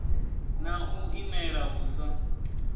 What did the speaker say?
na u imela hu sa